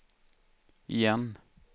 igen